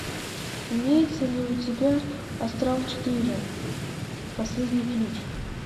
имеется ли у тебя астрал четыре последний ключ